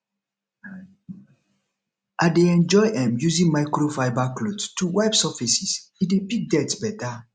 i dey enjoy um using microfiber cloth to wipe surfaces e dey pick dirt beta